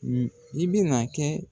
Ni i bi na kɛ